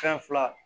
Fɛn fila